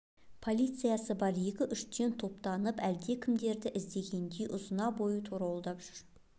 полициясы бар екі-үштен топтанып әлдекімдерді іздегендей ұзына бойы торуылдап жүр